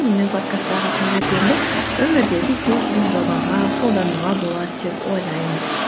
менің подкасттағы тәжірибемді өмірдегі кез келген жобаға қолдануға болады деп ойлаймын